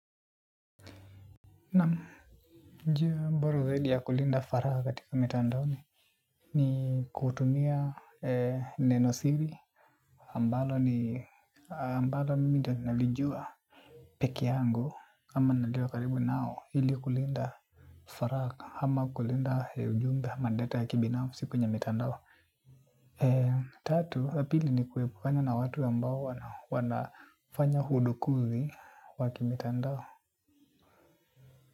Naam njia bora zaidi ya kulinda faragha katika mitandao ni ni kutumia nenosiri ambalo ni ambalo mimi nalijua peke yangu ama nalijua karibu nao ili kulinda faragha ama kulinda ujumbe ama data ya kibinafsi kwenye mitandao. Tatu wapili ni kuepukana na watu ambao wanafanya udukuzi wakimitandao.